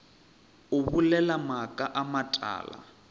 o bolela maaka a matala